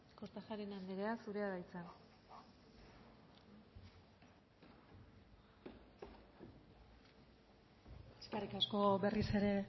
kortajarena andrea zurea da hitza eskerrik asko berriz ere